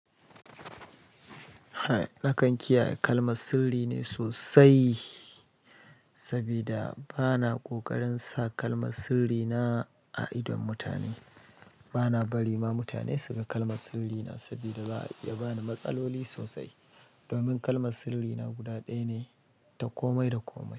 Na kan kiyaye kalmar sirri ne sosai sabida bana kokarin sa kalmar siri na a idon mutane bana bari ma mutane su ga kalmar sirri na sabida za'a iya bani matsaloli sosai. Domin kalmar sirri na guda ɗaya ne ta komai da komai.